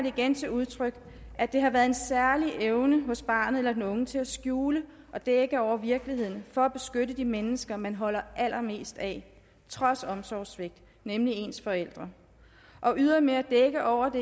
igen til udtryk at der har været en særlig evne hos barnet eller den unge til at skjule og dække over virkeligheden for at beskytte de mennesker man holder allermest af trods omsorgssvigt nemlig ens forældre og ydermere dække over det